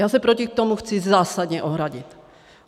Já se proti tomu chci zásadně ohradit.